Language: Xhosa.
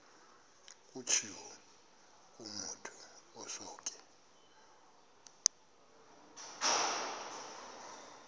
kutshiwo kumotu osuke